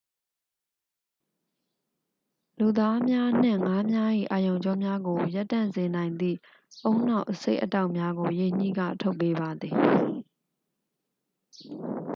လူသားများနှင့် ငါးများ၏ အာရုံကြောများကို ရပ်တန့်စေနိုင်သည့် ဦးနှောက်အဆိပ်အတောက်များကို ရေညှိက ထုတ်ပေးပါသည်